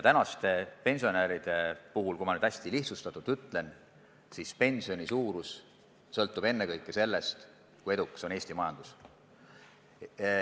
Tänaste pensionäride puhul, kui nüüd hästi lihtsustatult öelda, sõltub pensioni suurus ennekõike sellest, kui edukas on Eesti majandus.